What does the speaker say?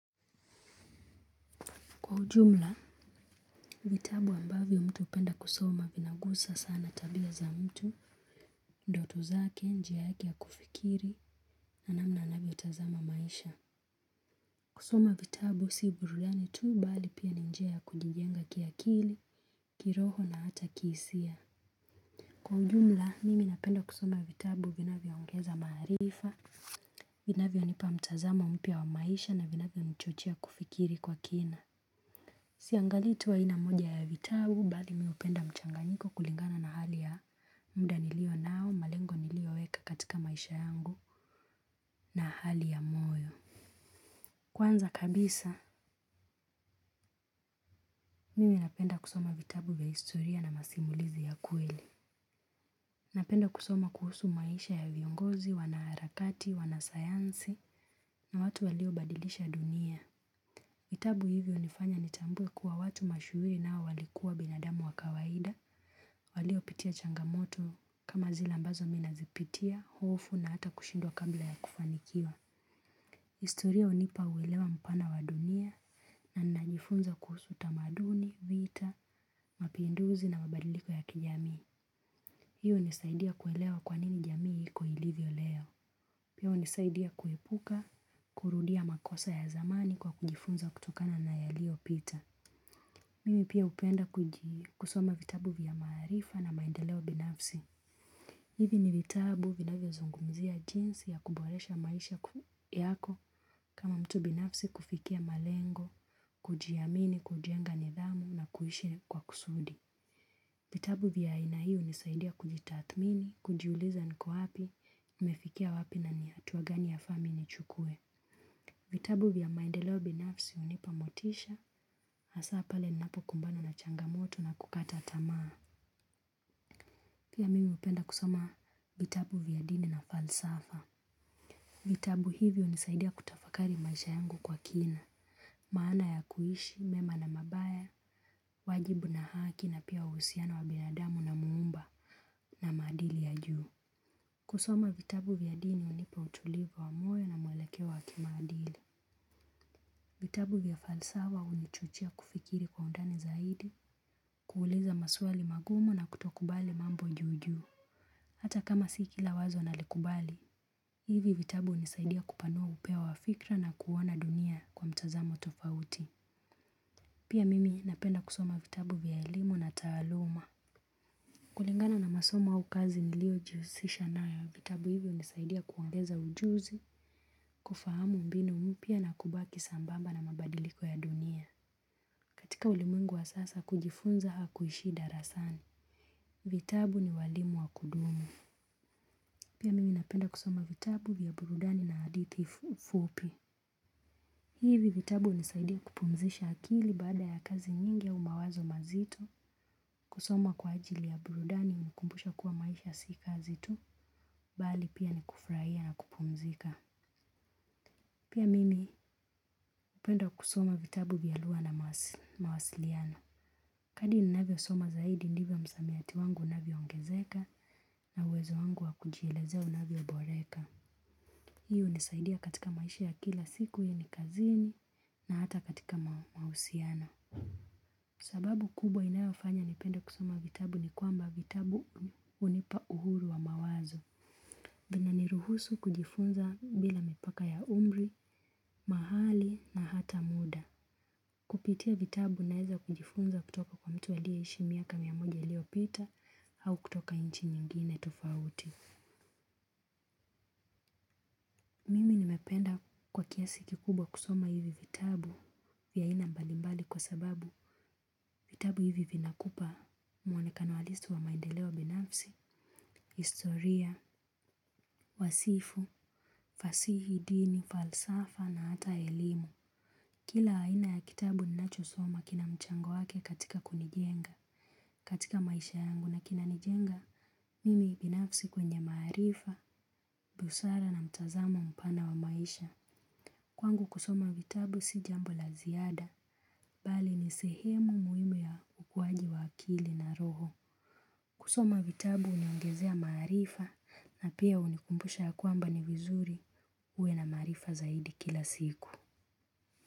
Kwa ujumla, vitabu ambavyo mtu upenda kusoma vinakuza sana tabia za mtu, ndoto zake, njia yake ya kufikiri, na namna anavyo tazama maisha. Kusoma vitabu si burudani tuu, bali pia ni njia ya kujijenga kiakili, kiroho na hata kihisia. Kwa ujumla, mimi napenda kusoma vitabu vinavyo ungeza maarifa, vinavyo nipa mtazamo mpya wa maisha, na vinavyo nichochea kufikiri kwa kina. Siangali tuu ina mmoja ya vitabu, bali mihupenda mchanganyiko kulingana na hali ya muda nilio nao malengo nilio weka katika maisha yangu, na hali ya moyo. Kwanza kabisa, mimi napenda kusoma vitabu via historia na masimulizi ya kweli. Napenda kusoma kuhusu maisha ya viongozi, wanaharakati, wanasayansi na watu walio badilisha dunia. Vitabu hivyo hunifanya nitambuwe kuwa watu mashuhuri nao walikuwa binadamu wa kawaida, waliopitia changamoto kama zile ambazo minazipitia, hofu na hata kushindwa kabla ya kufanikiwa. Historia hunipa uelewa mpana wadunia, na najifunza kuhusu tamaduni, vita, mapinduzi na mabadiliko ya kijami. Hiyo hunisaidia kuelewa kwa nini jamii iko ilivyo leo. Piya hunisaidia kuepuka, kurudia makosa ya zamani kwa kujifunza kutokana na yaliopita. Mimi pia upenda kusoma vitabu vya maarifa na maendeleo binafsi. Hivi ni vitabu vinayo zungumzia jinsi ya kuboresha maisha yako, kama mtu binafsi kufikia malengo, kujiamini, kujenga nidhamu na kuishi kwa kusudi. Vitabu vya ina hii hunisaidia kujithatmini, kujiuliza niko wapi, nimefikia wapi nani hatuwa gani yafaa mimi chukue. Vitabu vya maendeleo binafsi hunipa motisha, hasaa pale ninapo kumbana na changamoto na kukata tamaa. Pia mimi hupenda kusoma, vitabu vya dini na falsafa. Vitabu hivyo hunisaidia kutafakari maisha yangu kwa kina. Maana ya kuishi, mema na mabaya, waajibu na haki na pia uhusiano wa binadamu na muumba na maadili ya juu. Kusoma vitabu vya dini hunipa utulivu wa moyo na mwelekeo wa kimaadili. Vitabu vya falsafa hunichuchia kufikiri kwa undani zaidi, kuuliza maswali magumu na kutokubali mambo juju. Hata kama si kila wazo nalikubali, hivi vitabu hunisaidia kupanuwa upeo wafikra na kuona dunia kwa mtazamo tofauti. Pia mimi napenda kusoma vitabu vya elimu na taaluma. Kulingana na masoma au kazi nilio jihusisha nao, ya vitabu hivyo hunisaidia kuongeza ujuzi, kufahamu mbinu mpya na kubaki sambamba na mabadiliko ya dunia. Katika ulimwengu wa sasa kujifunza hakuishii darasani. Vitabu ni walimu wa kudumu. Pia mimi napenda kusoma vitabu vya burudani na hadithi fupi. Hivi vitabu hunisaidia kupumzisha akili, baada ya kazi nyingi au mawazo mazito. Kusoma kwa ajili ya burudani hunikumbusha kuwa maisha si kazi tuu. Bali pia nikufurahia na kupumzika. Pia mimi hupenda kusoma vitabu vya lugha na mawasiliano. Kadri ninavyo soma zaidi ndivyo msamiati wangu unavyo ongezeka, na uwezo wangu wa kujielezea unavyo boreka. Hii hunisaidia katika maisha ya kila siku iwe ni kazini, na hata katika mahusiano. Sababu kubwa inayofanya nipenda kusoma vitabu, ni kwamba vitabu hunipa uhuru wa mawazo. Vina ni ruhusu kujifunza bila mipaka ya umri, mahali na hata muda. Kupitia vitabu naeza kujifunza kutoka kwa mtu aliyeishi miaka miamoja ulio pita, au kutoka inchi nyingine tofauti. Mimi nimependa kwa kiasi kikubwa kusoma hivi vitabu, vya aina mbalimbali kwa sababu vitabu hivi vinakupa muonekano halisi wa maendeleo binafsi, historia, wasifu, fasihi, dini, falsafa na hata elimu. Kila haina ya kitabu ninacho soma kina mchango wake katika kunijenga, katika maisha yangu, na kina nijenga. Mimi binafsi kwenye maarifa, busara na mtazamo mpana wa maisha. Kwangu kusoma vitabu si jambo laziada, bali ni sehemu muhimu ya ukuwaji wa akili na roho. Kusoma vitabu huniongezea maarifa, na pia hunikumbusha ya kwamba ni vizuri uwe na maarifa zaidi kila siku.